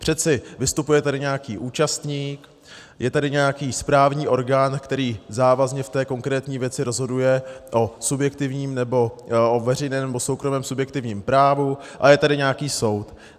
Přeci vystupuje tady nějaký účastník, je tady nějaký správní orgán, který závazně v té konkrétní věci rozhoduje o veřejném nebo soukromém subjektivním právu, a je tady nějaký soud.